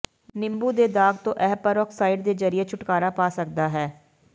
ਨਿੰਬੂ ਦੇ ਦਾਗ ਤੋਂ ਇਹ ਪੇਰੋਕਸਾਈਡ ਦੇ ਜ਼ਰੀਏ ਛੁਟਕਾਰਾ ਪਾ ਸਕਦਾ ਹੈ